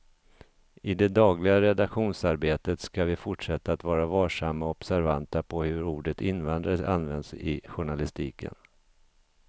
I det dagliga redaktionsarbetet ska vi fortsätta att vara varsamma och observanta på hur ordet invandrare används i journalistiken.